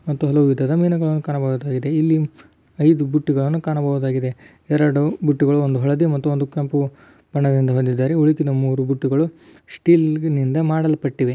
ಮತ್ತು ಇಲ್ಲಿ ಹಲವು ವಿಧದ ಮೀನುಗಳನ್ನು ಕಾಣಬಹುದು ಇಲ್ಲಿ ಐದು ಬುಟ್ಟಿಗಳನ್ನು ಕಾಣಬಹುದಾಗಿದೆ. ಎರಡು ಬುಟ್ಟಿಗಳು ಒಂದು ಹಳದಿ ಮತ್ತು ಕೆಂಪು ಬಣ್ಣದಿಂದ ಬಂದಿದ್ದಾವೆ ಉಳಿದಿದ ಮೂರು ಬುಟ್ಟಿಗಳು ಸ್ಟಿಲ್ಲಿಂದ ಮಾಡಿದ್ದಾರೆ.